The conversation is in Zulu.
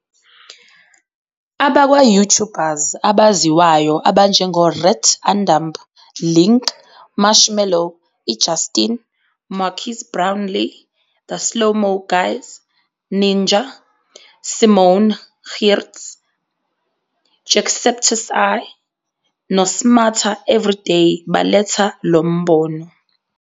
Abakwa-YouTubers abaziwayo abanjengoRhett and Link, Marshmello, iJustine, Marques Brownlee, The Slow Mo Guys, Ninja, Simone Giertz, Jacksepticeye, noSmarter Every Day baletha lo mbono.